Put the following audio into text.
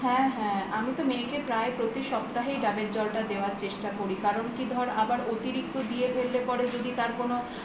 হ্যা হ্যা আমি তো মেয়েকে প্রায় প্রতি সপ্তাহেই ডাবের জলটা দেওয়ার চেষ্টা করি কারণ কি ধর আবার অতিরিক্ত দিয়ে ফেললে পারে যদি তার কোনো